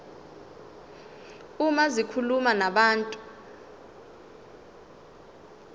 uma zikhuluma nabantu